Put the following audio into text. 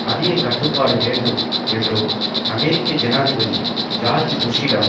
அதிக கட்டுப்பாடு வேண்டும் என்றும் அமெரிக்க ஜனாதிபதி ஜோர்ஜ் புஷ்ஷிடம்